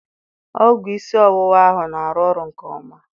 Ọgwụ isi ọwụwa ahụ na-arụ ọrụ nke ọma